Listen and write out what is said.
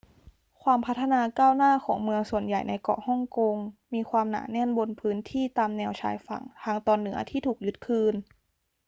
ความพัฒนาก้าวหน้าของเมืองส่วนใหญ่ในเกาะฮ่องกงมีความหนาแน่นบนพื้นที่ตามแนวชายฝั่งทางตอนเหนือที่ถูกยึดคืน